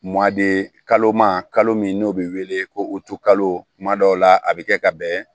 kalo ma kalo min n'o be wele ko kalo kuma dɔw la a be kɛ ka bɛn